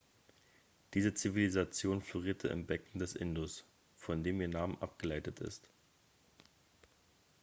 diese zivilisation florierte im becken des indus von dem ihr name abgeleitet ist